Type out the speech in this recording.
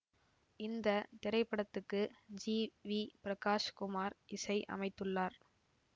இந்த திரைப்படத்துக்கு G V Prakash Kumar இசை அமைத்துள்ளார்